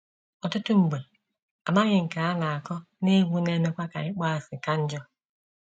Ọtụtụ mgbe, amaghị nke a na - akọ na egwu na - emekwa ka ịkpọasị ka njọ.